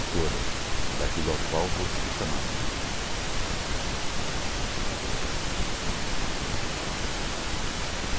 escolha, daquele o qual vou ser chamado né. E para se fazer essa escolha, você se baseia em algum detalhe